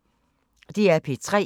DR P3